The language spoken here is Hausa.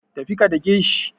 Tafi ka dake shi.